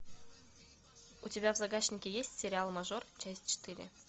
у тебя в загашнике есть сериал мажор часть четыре